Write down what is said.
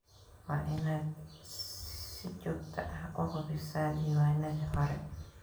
Waa inaad si joogto ah u hubisaa diiwaanadii hore.